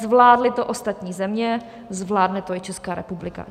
Zvládly to ostatní země, zvládne to i Česká republika.